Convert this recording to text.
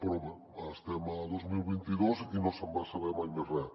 però bé estem a dos mil vint dos i no se’n va saber mai més res